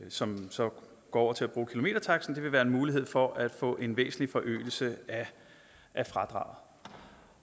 som så går over til at bruge kilometertaksten være en mulighed for at få en væsentlig forøgelse af fradraget